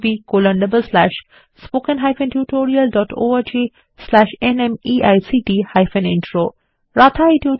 httpspoken tutorialorgNMEICT Intro Radha এই tutorial টি অনুবাদ এবং অন্তরা সেটি রেকর্ড করেছেন